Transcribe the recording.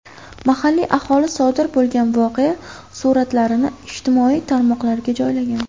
Mahalliy aholi sodir bo‘lgan voqea suratlarini ijtimoiy tarmoqlarga joylagan.